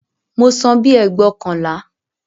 Mo san bíi ẹgbóokànlá